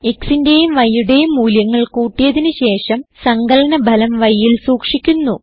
xന്റേയും yയുടേയും മൂല്യങ്ങൾ കൂട്ടിയതിന് ശേഷം സങ്കലന ഫലം yൽ സൂക്ഷിക്കുന്നു